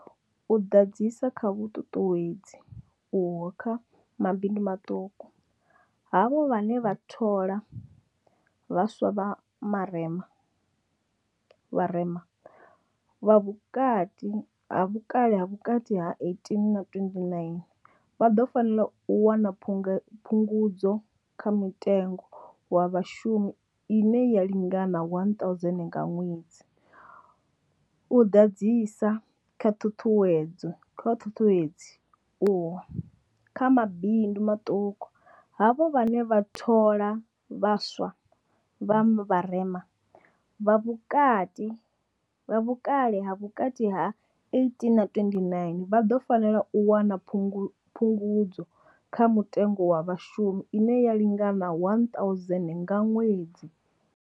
U ḓadzisa kha vhuṱuṱuwedzi uho kha mabindu maṱuku, havho vhane vha thola vha swa vha vharema, vha vhukati vha vhukale ha vhukati ha 18 na 29, vha ḓo fanela u wana phungudzo kha muthelo wa Vhashumi ine ya lingana 1 000 nga ṅwedzi. U ḓadzisa kha vhuṱuṱuwedzi uho kha mabindu maṱuku, havho vhane vha thola vha swa vha vharema, vha vhukale ha vhukati ha 18 na 29, vha ḓo fanela u wana Phungudzo kha Muthelo wa Vhashumi ine ya lingana 1 000 nga ṅwedzi.